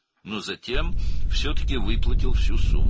Lakin sonra yenə də bütün məbləği ödədi.